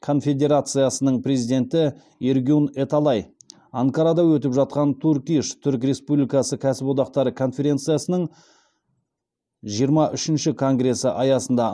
конфедерациясының президенті эргюн эталай анкарада өтіп жатқан турк иш түрік республикасы кәсіподақтары конференциясының жиырма үшінші конгресі аясында